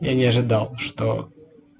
я не ожидал что